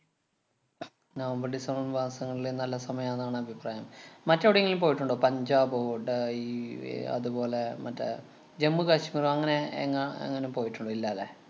November‍ December‍, മാസങ്ങളിലെ നല്ല സമയം ആണെന്നാണഭിപ്രായം. മറ്റെവെടെങ്ങളിലും പോയിട്ടുണ്ടോ? പഞ്ചാബോ, ഡ~ ഈ ഏർ അതുപോലെ മറ്റേ ജമ്മു കാശ്മീര്‍ അങ്ങനെയെങ്ങാ എങ്ങാനും പോയിട്ടുണ്ടോ ഇല്ലാല്ലേ.